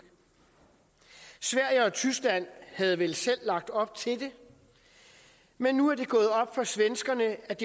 sverige og tyskland havde vel selv lagt op til det men nu er det gået op for svenskerne at